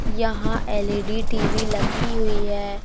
यहां LED TV लगी हुई है।